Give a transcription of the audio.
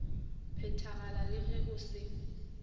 phethagala le ge go se